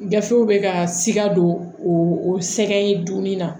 Gafew bɛ ka sika don o sɛgɛn dumuni na